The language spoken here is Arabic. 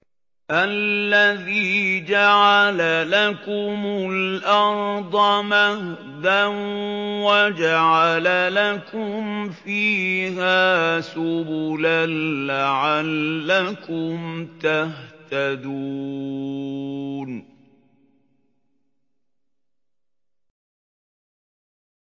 الَّذِي جَعَلَ لَكُمُ الْأَرْضَ مَهْدًا وَجَعَلَ لَكُمْ فِيهَا سُبُلًا لَّعَلَّكُمْ تَهْتَدُونَ